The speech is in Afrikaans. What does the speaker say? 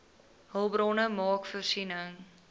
hulpbronne maak voorsiening